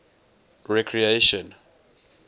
recreation